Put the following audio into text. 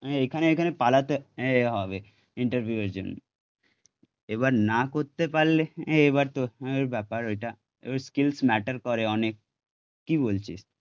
এখানে এখানে পালাতে হবে ইন্টারভিউ এর জন্য, এবার না করতে পারলে এবার তোর ব্যাপার ওইটা, এবার স্কিলস ম্যাটার করে অনেক, কি বলছিস?